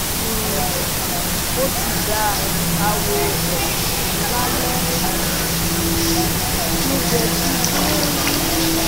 um o ti da awo osan lale ana, mo je ti beru